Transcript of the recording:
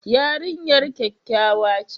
Yarinyar kyakkyawa ce?